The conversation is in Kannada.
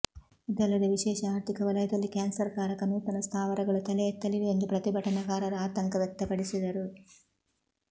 ಇದಲ್ಲದೆ ವಿಶೇಷ ಅರ್ಥಿಕ ವಲಯದಲ್ಲಿ ಕ್ಯಾನ್ಸರ್ ಕಾರಕ ನೂತನ ಸ್ಥಾವರಗಳು ತಲೆಎತ್ತಲಿವೆ ಎಂದು ಪ್ರತಿಭಟನಕಾರರು ಆತಂಕ ವ್ಯಕ್ತಪಡಿಸಿದರು